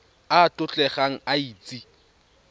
a a tlotlegang a itse